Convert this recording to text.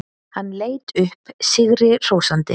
Hann leit upp sigri hrósandi.